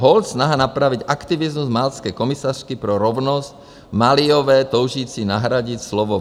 Holt snaha napravit aktivismus maltské komisařky pro rovnost Maliové toužící nahradit slovo